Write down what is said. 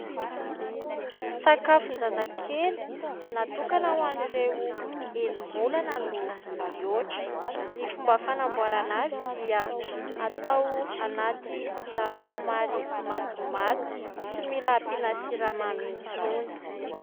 Sakafon-jazakely natokona ho an'ireo enim-bolana no mihoatra. Ny fomba fanamboarana azy dia atao anaty rano somary matimaty, tsy mila ampiana siramamy intsony.